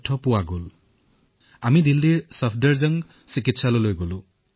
আমি সকলোৱে দিল্লীৰ ছফদৰজং চিকিৎসালয়লৈ গলো